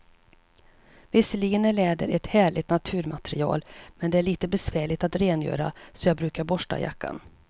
Visserligen är läder ett härligt naturmaterial, men det är lite besvärligt att rengöra, så jag brukar borsta jackan.